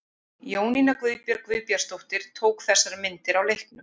Jónína Guðbjörg Guðbjartsdóttir tók þessar myndir á leiknum.